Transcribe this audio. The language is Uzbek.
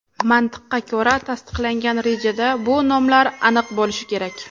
Mantiqqa ko‘ra, tasdiqlangan rejada bu nomlar aniq bo‘lishi kerak.